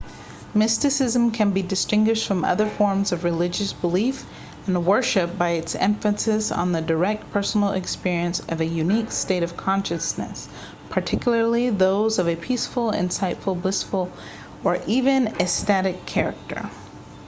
mysticism can be distinguished from other forms of religious belief and worship by its emphasis on the direct personal experience of a unique state of consciousness particularly those of a peaceful insightful blissful or even ecstatic character